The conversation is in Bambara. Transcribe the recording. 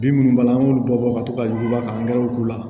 Bin minnu b'a la an b'olu bɛɛ bɔ ka to ka yurukuba ka angɛrɛw k'u la